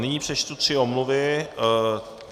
Nyní přečtu tři omluvy.